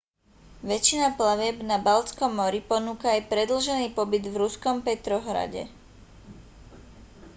väčšina plavieb na baltskom mori ponúka aj predĺžený pobyt v ruskom petrohrade